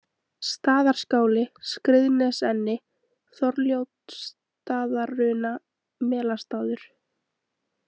Staðarskáli, Skriðnesenni, Þorljótsstaðaruna, Melastaður